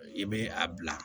I bɛ a bila